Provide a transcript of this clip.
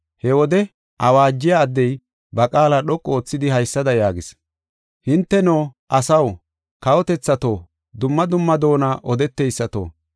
He wode awaajiya addey ba qaala dhoqu oothidi, haysada yaagis: “Hinteno, asaw, kawotethato, dumma dumma doona odeteysato,